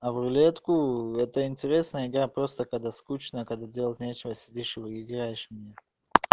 а рулетку это интересная игра просто когда скучно когда делать нечего сидишь вы играешь в неё